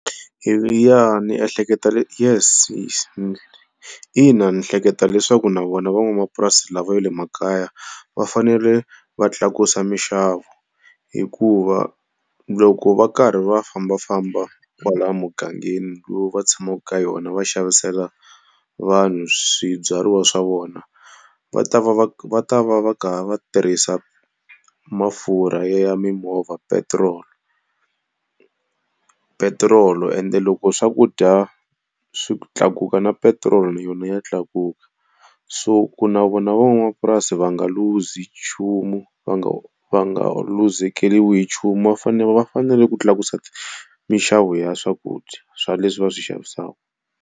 Ndzi ehleketa Yes yes. Ina ndzi hleketa leswaku na vona va n'wamapurasi lava ya le makaya va fanele va tlakusa minxavo. Hikuva loko va karhi va fambafamba kwalaha mugangeni lowu va tshamaka ka yona va xavisela vanhu swibyariwa swa vona, va ta va va va ta va va karhi va tirhisa mafurha ya ya mimovha petiroli. Petirolo ende loko swakudya swi tlakuka na petiroli na yona ya tlakuka, so ku na vona van'wamapurasi va nga luzi nchumu va nga va nga luzekeriwi hi nchumu va fanele va fanele ku tlakusa minxavo ya swakudya swa leswi va swi xavisaka.